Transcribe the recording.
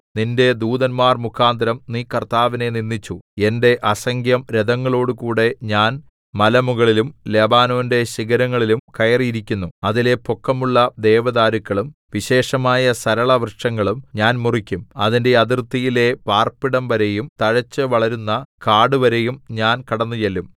നിന്റെ ദൂതന്മാർ മുഖാന്തരം നീ കർത്താവിനെ നിന്ദിച്ചു എന്റെ അസംഖ്യം രഥങ്ങളോടുകൂടെ ഞാൻ മലമുകളിലും ലെബാനോന്റെ ശിഖരങ്ങളിലും കയറിയിരിക്കുന്നു അതിലെ പൊക്കമുള്ള ദേവദാരുക്കളും വിശേഷമായ സരളവൃക്ഷങ്ങളും ഞാൻ മുറിക്കും അതിന്റെ അതിർത്തിയിലെ പാർപ്പിടംവരെയും തഴച്ചുവളരുന്ന കാടുവരെയും ഞാൻ കടന്നുചെല്ലും